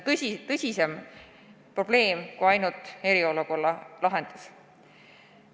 See on tõsisem probleem kui ainult eriolukorra lahendus.